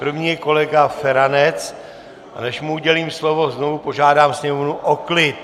První je kolega Feranec, a než mu udělím slovo, znovu požádám sněmovnu o klid.